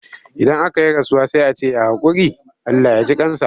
Idan aka yi rasuwa sai a ce ya haƙuri? Allah ya ji ƙan sa.